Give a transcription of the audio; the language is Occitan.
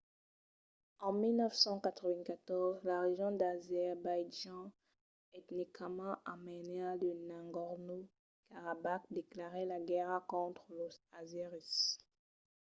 en 1994 la region d'azerbaitjan etnicament armènia de nagorno-karabakh declarèt la guèrra contra los azèris